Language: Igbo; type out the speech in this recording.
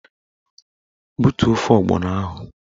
Butuo ofe ọgbọnọ ahụ!